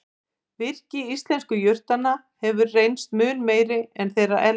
Virkni íslensku jurtanna hefur reynst mun meiri en þeirra erlendu.